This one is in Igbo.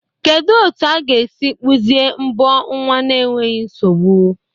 Kedu otu a ga-esi kpụzie mbọ nwa n'enweghị nsogbu?